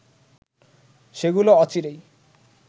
সেগুলো অচিরেই